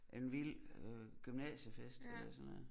En vild øh gymnasiefest eller sådan noget